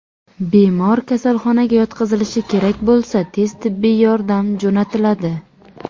Bemor kasalxonaga yotqizilishi kerak bo‘lsa, tez tibbiy yordam jo‘natiladi.